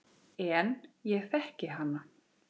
En ég þekki hana.